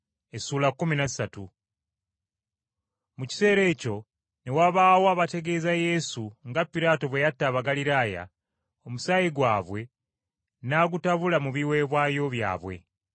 Mu kiseera ekyo ne wabaawo abategeeza Yesu nga Piraato bwe yatta Abagaliraaya, omusaayi gwabwe n’agutabula mu biweebwayo byabwe.